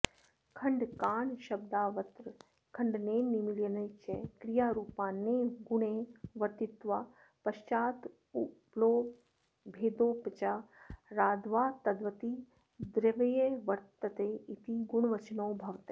खण्डकाणशब्दावत्र खण्डनेन निमीलने च क्रियारूपापन्ने गुणे वर्तित्वा पश्चान्मतुब्लोपादभेदोपचाराद्वा तद्वति द्रव्ये वर्तते इति गुणवचनौ भवतः